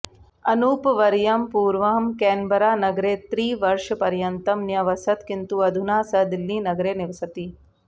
अनूपवर्यः पूर्वं केन्बरानगरे त्रिवर्षपर्यन्तं न्यवसत् किन्तु अधुना सः दिल्लीनगरे निवसति